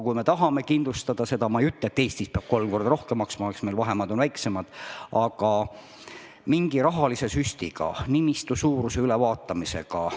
Kui me tahame oma süsteemi kindlustada – ma ei ütle, et Eestis peab kolm korda rohkem maksma, õnneks on meil vahemaad väiksemad –, siis peab mõtlema, kas seda saab teha mingi rahalise süstiga, nimistu suuruse ülevaatamisega.